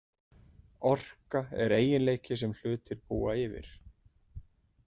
Orka er eiginleiki sem hlutir búa yfir.